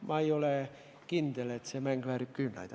Ma ei ole kindel, et see mäng väärib küünlaid.